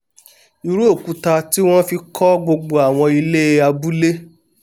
irú òkúta tí wọ́n fi kọ́ gbogbo àwọn ilé abúlé